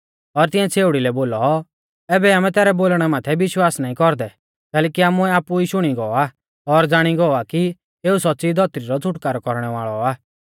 और तिऐं छ़ेउड़ी लै बोलौ ऐबै आमै तैरै बोलणै माथै विश्वास नाईं कौरदै कैलैकि आमुऐ आपु ई शुणी गौ आ और ज़ाणी गौ आ कि एऊ सौच़्च़ी धौतरी रौ छ़ुटकारौ कौरणै वाल़ौ आ